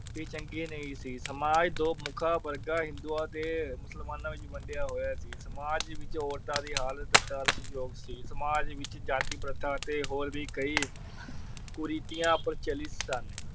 ਵੀ ਚੰਗੀ ਨਹੀਂ ਸੀ। ਸਮਾਜ ਦੋ ਮੁੱਖਾ ਵਰਗਾ ਹਿੰਦੂਆਂ ਤੇ ਮੁਸਲਮਾਨਾਂ ਵਿੱਚ ਵੰਡਿਆ ਹੋਇਆ ਸੀ। ਸਮਾਜ ਵਿਚ ਔਰਤਾਂ ਦੀ ਹਾਲਤ ਤਰਸ ਜੋਗ ਸੀ l ਸਮਾਜ ਵਿਚ ਜਾਤੀ ਪ੍ਰਥਾ ਤੇ ਹੋਰ ਵੀ ਕਈ ਕੁਰੀਤੀਆਂ ਪ੍ਰਚਲਿਤ ਸਨ।